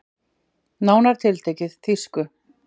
Nánar tiltekið þýsku.